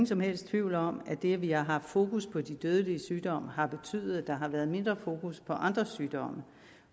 som helst tvivl om at det at vi har haft fokus på de dødelige sygdomme har betydet at der har været mindre fokus på andre sygdomme